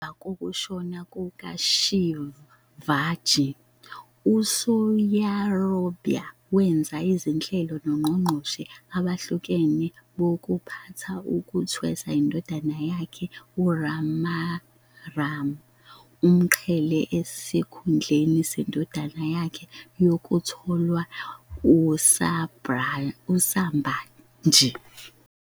Ngemva kokushona kukaShivaji, uSoyarabai wenza izinhlelo nongqongqoshe abahlukahlukene bokuphatha ukuthwesa indodana yakhe uRajaram umqhele esikhundleni sendodana yakhe yokutholwa uSambhaji.